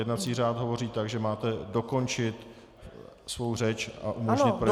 Jednací řád hovoří tak, že máte dokončit svou řeč a umožnit projednávání.